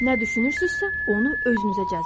Nə düşünürsünüzsə, onu özünüzə cəzb edirsiniz.